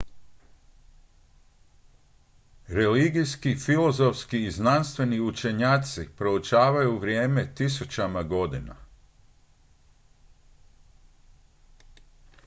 religijski filozofski i znanstveni učenjaci proučavaju vrijeme tisućama godina